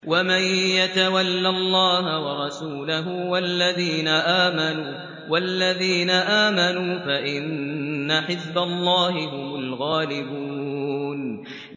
وَمَن يَتَوَلَّ اللَّهَ وَرَسُولَهُ وَالَّذِينَ آمَنُوا فَإِنَّ حِزْبَ اللَّهِ هُمُ الْغَالِبُونَ